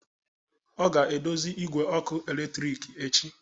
Ọ ga-edozi igwe ọkụ eletrik echi